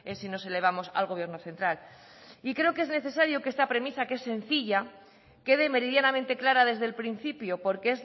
es si nos elevamos al gobierno central creo que es necesario que esta premisa que es sencilla quede meridianamente clara desde el principio porque es